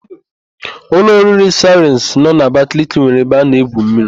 Ụlọ oriri Saịrịns nọ n'Abakaliki nwere ebe a na-egwu mmiri.